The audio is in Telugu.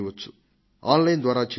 ఆన్లైన్ లో చేయవచ్చు